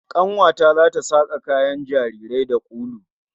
Kanuwa ta zata saka kayan jarirai da ulu